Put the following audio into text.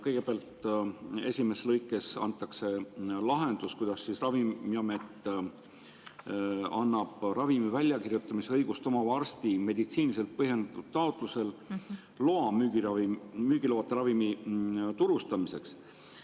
Kõigepealt esimeses lõikes antakse lahendus, et Ravimiamet annab ravimi väljakirjutamise õigust omava arsti meditsiiniliselt põhjendatud taotlusel loa müügiloata ravimi turustamiseks.